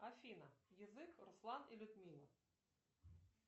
афина язык руслан и людмила